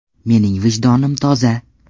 Mening vijdonim toza.